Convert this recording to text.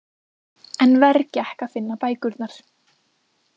En verr gekk að finna bækurnar.